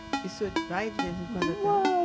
E o senhor vai de vez em quando até lá?